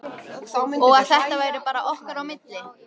Og að þetta væri bara okkar á milli.